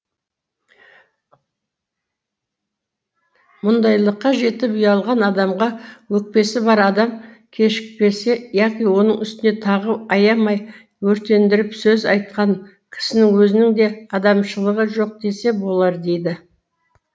мұндайлыққа жетіп ұялған адамға өкпесі бар адам кешікпесе яки оның үстіне тағы аямай өртендіріп сөз айтқан кісінің өзінің де адамшылығы жоқ десе болар дейді